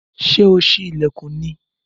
Ṣé ò sí ilẹkun ni?